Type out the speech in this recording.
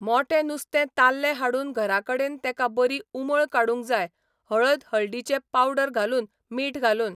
मोटे नुस्तें ताल्ले हाडून घरा कडेन तेका बरी उमळ काडूंक जाय हळद हळदीचे पावडर घालून मीठ घालून